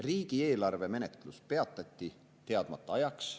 Riigieelarve menetlus peatati teadmata ajaks.